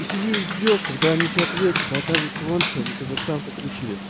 сидишь ждёшь когда они тебе ответят оказывается вон что они казахстан